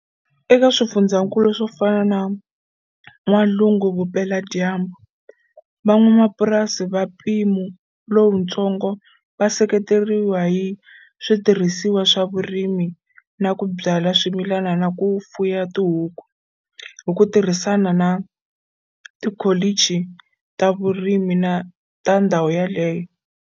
Eka swifundzakulu swo fana na N'walungu-Vupeladyambu, van'wapurasi va mpimo lowutsongo va seketeriwa hi switirhisiwa swa vurimi na ku byala swimilani na ku fuya tihuku, hi ku tirhisana na tikholichi ta vurimi ta ndhawu yaleyo.